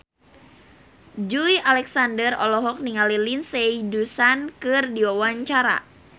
Joey Alexander olohok ningali Lindsay Ducan keur diwawancara